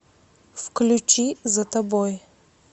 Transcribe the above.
включи за тобой